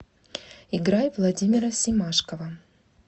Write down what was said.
играй владимира семашкова